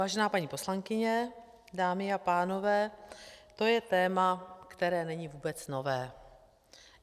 Vážená paní poslankyně, dámy a pánové, to je téma, které není vůbec nové.